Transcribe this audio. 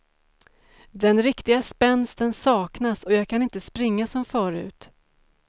Den riktiga spänsten saknas och jag kan inte springa som förut.